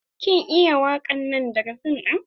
Kin iya wakan nan daga fim din?